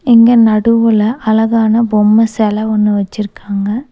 இங்க நடுவுல அழகான பொம்ம செல ஒன்னு வெச்சிருக்காங்க.